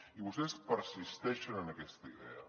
i vostès persisteixen en aquesta idea